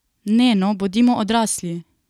Ne, no, bodimo odrasli!